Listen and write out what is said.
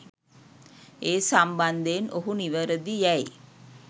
ඒ සම්බන්ධයෙන් ඔහු නිවැරදි යැයි